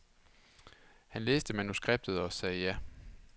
Han læste manuskriptet og sagde ja.